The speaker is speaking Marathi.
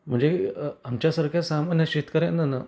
म्हणजे आमच्या सारख्या सामान्य शेतकर्यांना ना